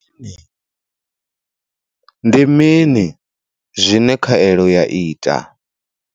Ndi mini zwine khaelo ya ita?